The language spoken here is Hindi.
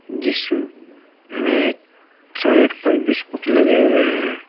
जिस में साइड पर बिस्कुट लगे हुए हैं।